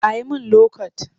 A yi min lokot